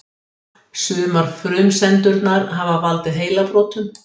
Sumar frumsendurnar hafa valdið heilabrotum.